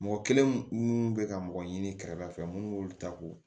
Mɔgɔ kelen minnu bɛ ka mɔgɔ ɲini kɛrɛda fɛ minnu b'olu ta ko